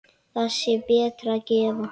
Þá sé betra að gefa.